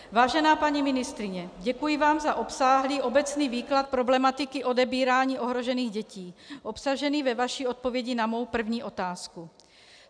Vážená paní ministryně, děkuji vám za obsáhlý obecný výklad problematiky odebírání ohrožených dětí obsažený ve vaší odpovědi na mou první otázku.